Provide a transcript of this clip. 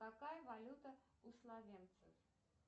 какая валюта у словенцев